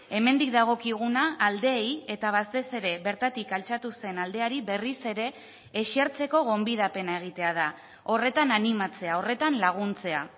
hemendik dagokiguna aldeei eta batez ere bertatik altxatu zen aldeari berriz ere esertzeko gonbidapena egitea da horretan animatzea horretan laguntzea